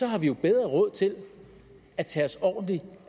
har vi jo bedre råd til at tage os ordentligt